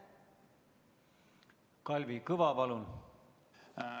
Kalvi Kõva, palun!